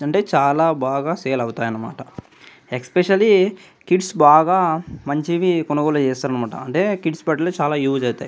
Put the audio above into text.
అంటే చాల బాగా సేల్ అవుతాయి అన్నమాట ఎస్పెషల్లీ కిడ్స్ బాగా మంచివి కొనుగోలు చేస్తారు అన్నమాట అంటే కిడ్స్ బట్టలు చాల యూస్ అవుతాయి--